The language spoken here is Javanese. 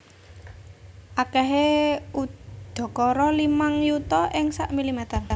Akèhé udakara limang yuta ing sak milimeter